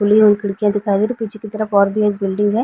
खुली हुई खिड़कियाँ दिखाई दे रही हैं पीछे की तरफ और भी एक बिल्डिंग है।